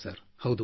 ಹೌದು ಸರ್